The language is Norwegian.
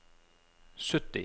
sytti